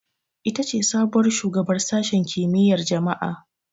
Ita ce sabuwar shugabar Sashen Kimiyyar Jama'a.